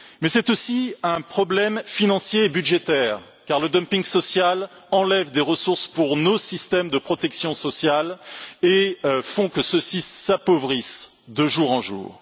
Mais c'est aussi un problème financier et budgétaire, car le dumping social enlève des ressources à nos systèmes de protection sociale et fait que ceux ci s'appauvrissent de jour en jour.